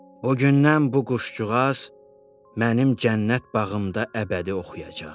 O gündən bu quşcuğaz mənim cənnət bağımda əbədi oxuyacaq.